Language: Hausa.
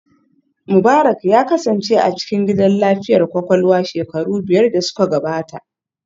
Mubarak ya kasance a cikin gidan lafiyar kwakwalwa shekaru biyar da suka gabata